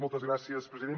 moltes gràcies president